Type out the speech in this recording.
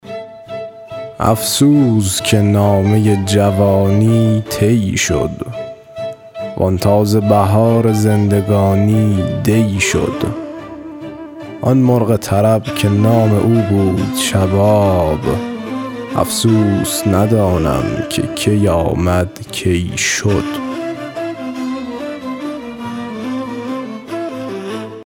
افسوس که نامه جوانی طی شد وآن تازه بهار زندگانی دی شد آن مرغ طرب که نام او بود شباب افسوس ندانم که کی آمد کی شد